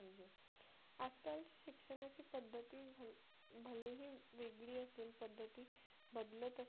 वेगळी असेल पद्धती बदलत असेल